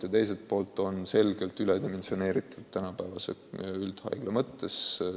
Teiselt poolt on tegu selgelt üledimensioneeritud üldhaiglaga.